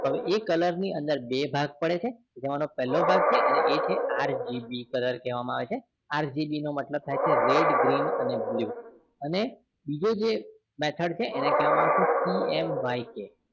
એ color ની અંદર બે ભાગ પડે છે જેમાનો પેલો ભાગ છે અને એ છે અને RGB color કહેવામાં આવે છે અને એનો RGB નો મતલબ થાય છે કે red green blue અને બીજો જે method એને કેહવામાં આવે છે CMYK